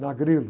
Na Grilo.